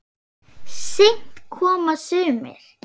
Seint koma sumir.